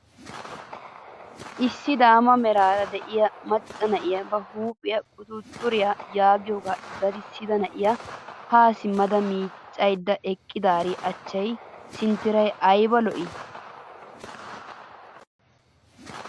Issi daama meraara de'iyaa macca na'iyaa ba huuphphiyaa quxuxuriyaa yaagiyogaa daddisida na'iyaa haa simmada miiccayda eqqidaari achchay sinttaray ayba lo"ii!